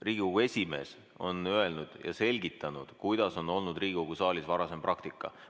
Riigikogu esimees on öelnud ja selgitanud, milline on olnud Riigikogu saalis varasem praktika.